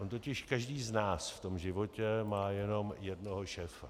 On totiž každý z nás v tom životě má jenom jednoho šéfa.